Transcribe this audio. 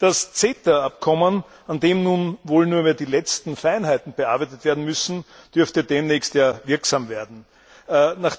Das CETA Abkommen, an dem nun wohl nur noch die letzten Feinheiten bearbeitet werden müssen, dürfte demnächst in Kraft treten.